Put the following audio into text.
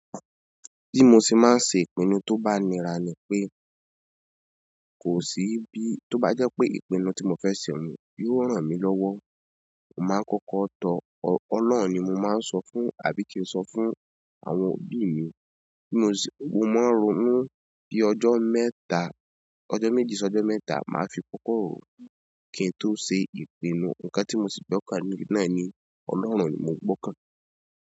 Bí mo ṣe máa ń ṣe ìpinnu tó bá nira ni pé kò sí bí, tó bá jẹ́ pé ìpinnu tí mo fẹ́ ṣe nìyí yóò ràn mí lọ́wọ́, mo máa ń kọ́kọ́ tọ ọlọ́run ni mo máa ń sọ fún, àbí kí n sọ fún àwọn òbí mi. Bí mo ṣe, mo máa ń ronú bí ọjọ́ mẹ́ta, ọjọ́ méjì sí ọjọ́ mẹ́ta màá fi kọ́kọ́ ró kín tó se ìpinnu. Ǹkan tí mo sì gbọ́kàn ní náà ni ọlọ́run ni mo gbọ́kàn.